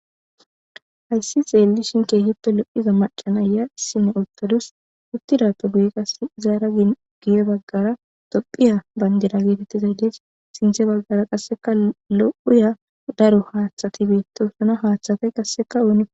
Hayisi xelushini loyiya macca nayiya isina utadusu utidape guye izara guye baggara tophphiya bandira getetidayisi dessi sintha baggara qassi loyi darro hathati betisona hathata qassi onika